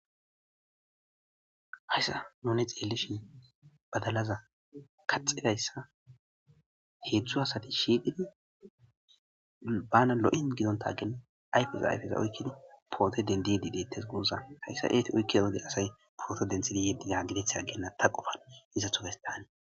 hayssa nune xeelleshin badalaza kaxedayssa heedzdzu asati shiiqidi bana lo7in gidonta genna ayfesa ayfeza oykkini poote dendidi dettes guuza hayssa eeti oykki ooge asay poote denthidi yeddida gideth genna ta qofan iza tufestaane